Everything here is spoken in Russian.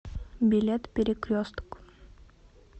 билет перекресток